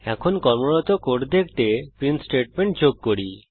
এখন কর্মরত কোড দেখতে একটি প্রিন্ট স্টেটমেন্ট যোগ করি